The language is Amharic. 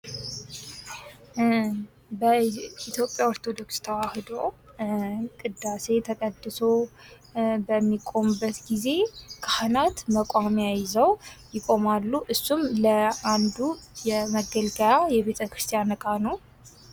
በኢትዮጵያ ኦርቶዶክስ ተዋህዶ ቅዳሴ ተቀድሶ በሚቆምበት ጊዜ ካህናት መቋሚያ ይዘው ይቆማሉ። እሱም ለአንዱ የመገልገያ የቤተ ክርስቲያን እቃ ነው።